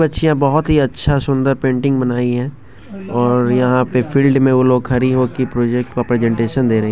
दो बच्चियां बहुत ही अच्छा सुंदर पेंटिंग बनाई हैऔर यहां पे फील्ड में वो लोग खड़ी होके की प्रोजेक्ट को प्रेजेंटेशन दे रहे है।